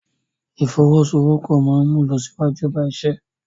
Ìfọwọ́sowọ́pọ̀ máa ń mú ìlọsíwájú bá iṣẹ́.